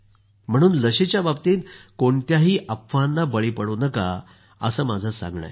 म्हणून लसीच्या बाबतीत कोणत्याही अफवांना बळी पडू नका असा माझा आग्रह आहे